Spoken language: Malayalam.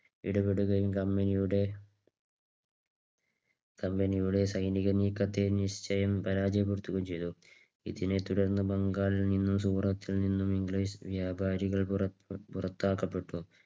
ഇടപെടുകയും company യുടെ company യുടെ സൈനിക നീക്കത്തെ നിശ്ചയം പരാജയപ്പെടുത്തുകയും ചെയ്തു. ഇതിനെ തുടർന്ന് ബംഗാളിൽ നിന്നും സൂറത്തിൽ നിന്നും ഇംഗ്ലീഷ് വ്യാപാരികൾ പുറ പുറത്താക്കപ്പെട്ടു.